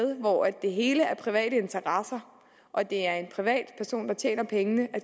hvor det hele er private interesser og det er en privatperson der tjener pengene